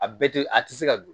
A bɛɛ tɛ a tɛ se ka don